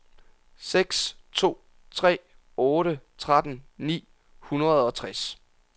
seks to tre otte tretten ni hundrede og tres